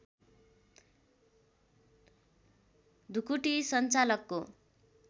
ढुकुटी सञ्चालकको